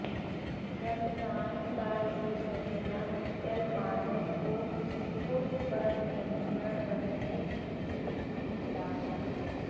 रमजान का ये महीना मुसलमानों को खुद पर नियंत्रण रखने की सीख देता है